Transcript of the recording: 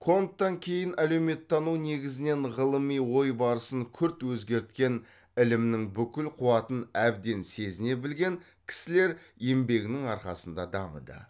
конттан кейін әлеуметтану негізінен ғылыми ой барысын күрт өзгерткен ілімнің бүкіл қуатын әбден сезіне білген кісілер еңбегінің арқасында дамыды